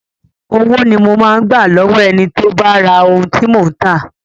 Owó ni mo máa gba lọ́wọ́ ẹni tó bá ra ohun tí mò ń tà..